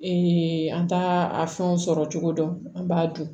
an t'a a fɛnw sɔrɔ cogo dɔn an b'a dun